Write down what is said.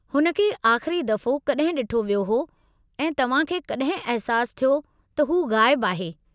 हुन खे आख़िरी दफ़ो कड॒हिं डि॒ठो वियो हो ऐं तव्हां खे कड॒हिं अहिसासु थियो त हू गायबु आहे?